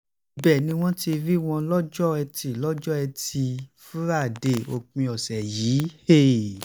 ibẹ̀ ni wọ́n ti rí wọn lọ́jọ́ etí lọ́jọ́ etí fúrádéé òpin ọ̀sẹ̀ yìí